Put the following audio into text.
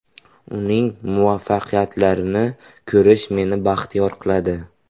Uning muvaffaqiyatlarini ko‘rish, meni baxtiyor qiladi.